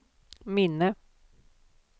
minne